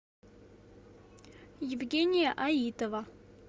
евгения аитова